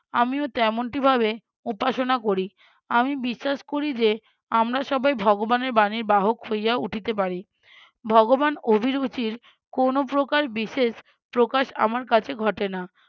আমিও তেমনটিভাবে উপাসনা করি। আমি বিশ্বাস করি যে আমরা সবাই ভগবানের বাণীর বাহক হইয়া উঠিতে পারি। ভগবান অভিরুচির কোনো প্রকার বিশেষ প্রকাশ আমার কাছে ঘটে না